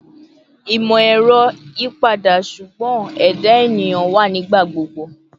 Imọ-ẹrọ yipada, ṣugbọn ẹda eniyan wa nigbagbogbo